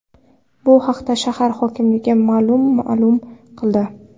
Bu haqda shahar hokimligi ma’lum ma’lum qildi .